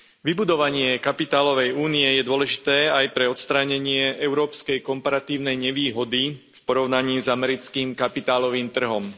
Vybudovanie kapitálovej únie je dôležité aj pre odstránenie európskej komparatívnej nevýhody v porovnaní s americkým kapitálovým trhom.